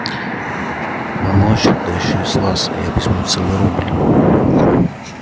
но ночью да ещё с вас я возьму целый рубль